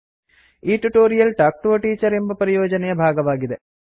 ಈ tutorial talk to a teacher ಎಂಬ ಪರಿಯೋಜನೆಯ ಭಾಗವಾಗಿದೆ